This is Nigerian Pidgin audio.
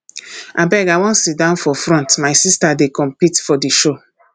abeg i wan sit down for front my sister dey compete for the show